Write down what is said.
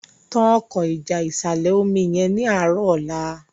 tán Ọkọ́ ìjà ìsàlẹ̀-omi yén ní arọ ọlá